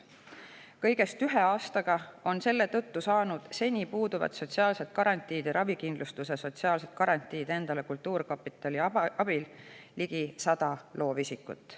Kõigest ühe aastaga on kultuurkapitali abil saanud endale seni puudunud sotsiaalsed garantiid ja ravikindlustuse ligi 100 loovisikut.